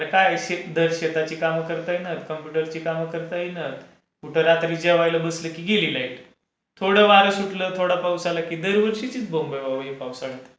अरे काय शेताची काम करता येणार? कम्प्युटरची काम करता येणार? कुठं रात्री जेवायला बसलो की गेली लाईट. थोडं वारं सुटलं थोडा पाऊस आला की दरवर्षीचीच बोंब आहे बावा हि पावसाळ्यात।